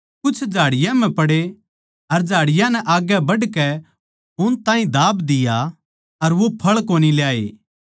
कुछ झाड़ियाँ म्ह पड़े अर झाड़ियाँ नै आग्गै बढ़कै उन ताहीं दाब दिया अर वो फळ कोनी ल्याये